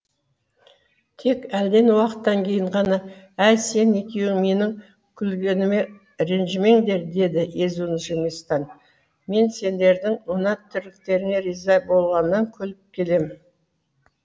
тек әлден уақыттан кейін ғана әй сен екеуің менің күлгеніме ренжімеңдер деді езуін жимастан мен сендердің мына тірліктеріңе риза болғаннан күліп келем